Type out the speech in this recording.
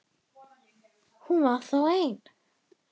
Hún var þá ein!